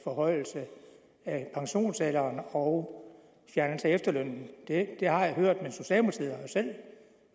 forhøjelse af pensionsalderen og fjernelse af efterlønnen det har jeg hørt